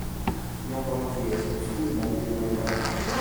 Nyakonchiel, skul mag piny owachoo�